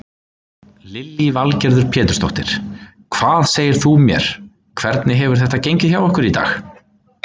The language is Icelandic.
Lillý Valgerður Pétursdóttir: Hvað segir þú mér hvernig hefur þetta gengið hjá ykkur í dag?